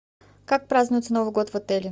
как празднуется новый год в отеле